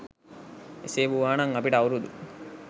එසේ වූවා නම් අපිට අවුරුදු